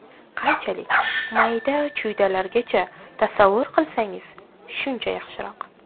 Qanchalik mayda-chuydalarigacha tasavvur qilsangiz shuncha yaxshiroq.